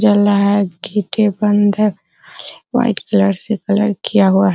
जल रहा है गेटे बंद है व्हाइट कलर से कलर किया हुआ --